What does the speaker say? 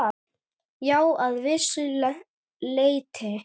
Já, að vissu leyti.